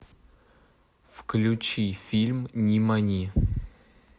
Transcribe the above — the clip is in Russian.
включи фильм нимани